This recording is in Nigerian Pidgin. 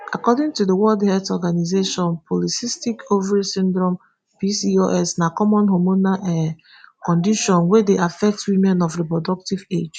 according to di world health organisation polycystic ovary syndrome pcos na common hormonal um condition wey dey affect women of reproductive age.